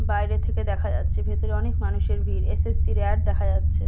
বাইরে থেকে দেখা যাচ্ছে ভেতরে অনেক মানুষের ভিড় এস.এস.সির এর অ্যাড দেখা যাচ্ছে।